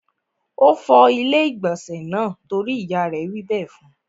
Ó fọ ilé-ìgbọ̀nsẹ̀ náà torí ìyá rẹ̀ wí bẹ́ẹ̀ fún.